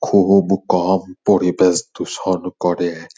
খুব কম পরিবেশ দূষণ করে।